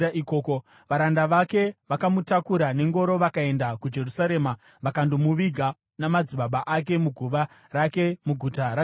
Varanda vake vakamutakura nengoro vakaenda kuJerusarema vakandomuviga namadzibaba ake muguva rake muGuta raDhavhidhi.